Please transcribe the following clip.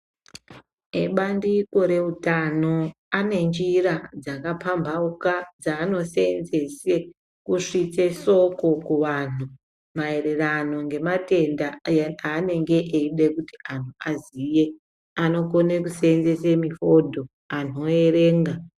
Ebandiko reutano ane njira dzakapambauka dzaanosenzese kusvitse soko kuvanhu maererano ngematenda aanenge eide kuti anhu aziye anokona kuseenzese mihodho anhu oerenga.